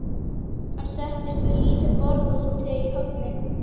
Hann settist við lítið borð úti í horni.